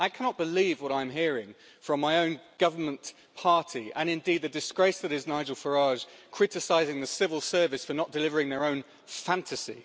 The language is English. I cannot believe what I am hearing from my own Government party and, indeed, the disgrace that is Nigel Farage criticising the civil service for not delivering their own fantasy.